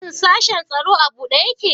Shin sashin tsaro a buɗe ƴaƙe?